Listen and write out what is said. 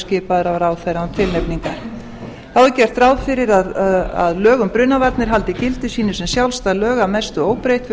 skipaður af ráðherra án tilnefningar þá er gert ráð fyrir að lög um brunavarnir haldi gildi sínu sem sjálfstæð lög að mestu óbreytt fyrir